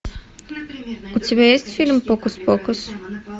у тебя есть фильм фокус покус